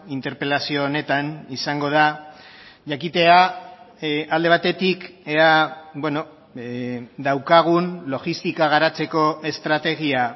interpelazio honetan izango da jakitea alde batetik ea daukagun logistika garatzeko estrategia